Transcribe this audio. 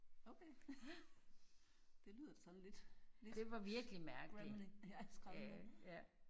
Okay det lyder da sådan lidt lidt scary ja skrammende